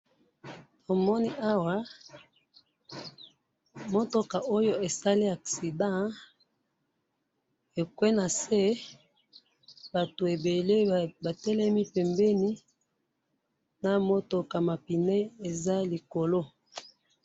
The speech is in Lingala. na moni awa mutuka oyo esali accident ekwe nase batu ebele ba telemi pembeni na mutuka ma pneu eza likolo